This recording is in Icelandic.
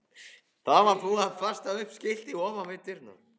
Það var búið að festa upp skilti ofan við dyrnar.